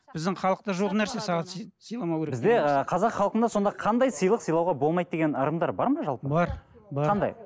біздің халықта жоқ нәрсе сағат сыйламау керек деген нәрсе бізде қазақ халқында сонда қандай сыйлық сыйлауға болмайды деген ырымдар бар ма жалпы бар бар қандай